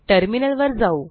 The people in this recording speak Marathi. टर्मिनल वर जाऊ